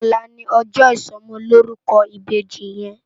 Òlá ni òjò isòmòlórúkò ibéji yèn